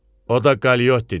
O da Qaliyottidir.